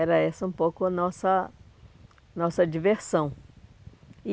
Era essa um pouco a nossa nossa diversão.